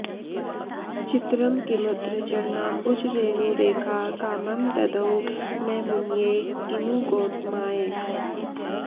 चित्रं किमत्र चरणाम्बुजरेणुरेखा कामं ददौ न मुनये किमु गौतमाय